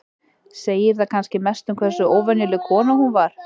Segir það kannski mest um hversu óvenjuleg kona hún var.